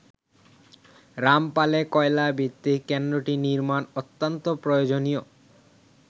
রামপালে কয়লা ভিত্তিক কেন্দ্রটি নির্মাণ অত্যন্ত প্রয়োজনীয়।